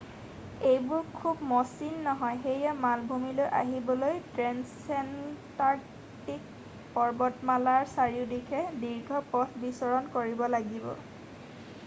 এইবোৰ খুব মসৃণ নহয় সেয়ে মালভূমিলৈ আহিবলৈ ট্ৰেনছেনটাৰ্কটিক পৰ্বতমালাৰ চাৰিওদিশে দীৰ্ঘ পথ বিচৰণ কৰিব লাগিব